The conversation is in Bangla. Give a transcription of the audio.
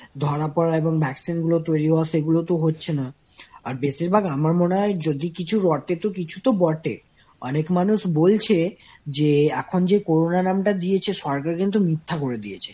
ধরা পড়া এখন vaccine গুলো তো সেভাবে তৈরি হচ্ছে না। আর বেশিরভাগ আমার মনে হয় যদি কিছু রটে তো কিছু তো বটে। অনেক মানুষ বলছে, যে এখন যে corona নামটা দিয়েছে সরকার কিন্তু মিথ্যা করে দিয়েছে।